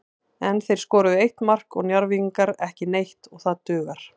En þeir skoruðu eitt mark og Njarðvíkingar ekki neitt og það dugar.